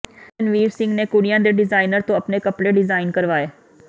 ਜਦੋਂ ਰਣਵੀਰ ਸਿੰਘ ਨੇ ਕੁੜੀਆਂ ਦੇ ਡਿਜ਼ਾਈਨਰ ਤੋਂ ਆਪਣੇ ਕੱਪੜੇ ਡਿਜ਼ਾਈਨ ਕਰਵਾਏ